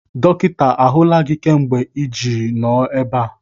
Dọkịta ahụla gị kemgbe iji nọrọ ebe a?